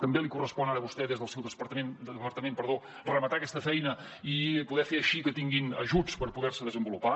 també li correspon ara a vostè des del seu departament rematar aquesta feina i poder fer així que tinguin ajuts per poder se desenvolupar